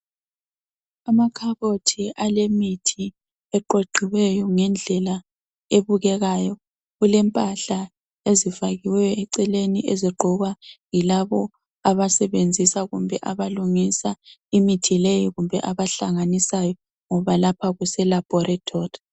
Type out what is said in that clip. Amakhabothi alemithi aqoqiweyo ngendlela ebukekayo. Kulempahla ezifakiweyo eceleni ezigqokwa yilabo abasebenzisa, kumbe abalungisa imithi leyo, kumbe abahlanganisayo, ngoba lapha kuselaboratory.